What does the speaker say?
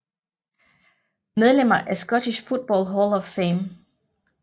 Medlemmer af Scottish Football Hall of Fame